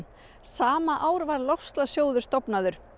sama ár var loftslagssjóður stofnaður